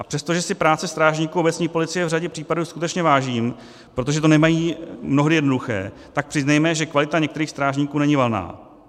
A přestože si práce strážníků obecní policie v řadě případů skutečně vážím, protože to nemají mnohdy jednoduché, tak přiznejme, že kvalita některých strážníků není valná.